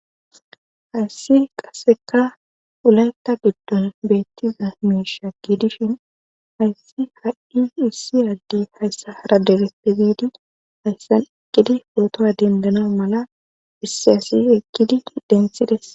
Hayssi qaseka ulanta giddon beettiza be'isha giidishin hayssi ha7i issi adde hayssa hara deleppe biidi hayssan ekkidi pootoa dendana mala issi asi ekkidi densides.